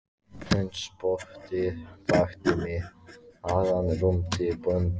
Hundspottið vakti mig áðan rumdi bóndinn.